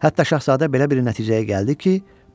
Hətta Şahzadə belə bir nəticəyə gəldi ki,